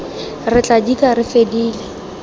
re tla dika re fedile